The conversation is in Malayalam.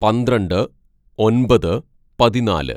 "പന്ത്രണ്ട് ഒന്‍പത് പതിനാല്‌